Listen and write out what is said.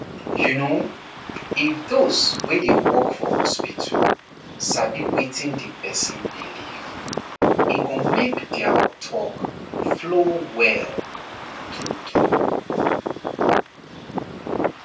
you know if those wey dey work for hospital sabi wetin the person believe e go make their talk flow well true true